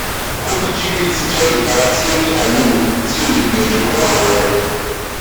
kojivit jẹ ipara ti o ni ailewu ti o le gbiyanju fun awọ rẹ